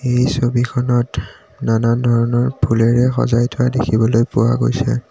এই ছবিখনত নানান ধৰণৰ ফুলেৰে সজাই থোৱা দেখিবলৈ পোৱা গৈছে।